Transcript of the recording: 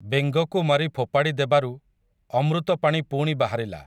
ବେଙ୍ଗକୁ ମାରି ଫୋପାଡ଼ି ଦେବାରୁ, ଅମୃତ ପାଣି ପୁଣି ବାହାରିଲା ।